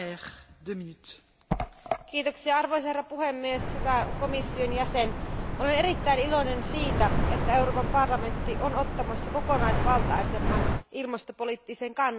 Arvoisa puhemies, hyvä komission jäsen, olen erittäin iloinen siitä, että Euroopan parlamentti on ottamassa kokonaisvaltaisemman ilmastopoliittisen kannan myös tämän lausuman myötä.